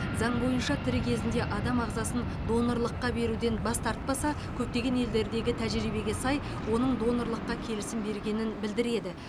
заң бойынша тірі кезінде адам ағзасын донорлыққа беруден бас тартпаса көптеген елдердегі тәжірибеге сай оның донорлыққа келісім бергенін білдіреді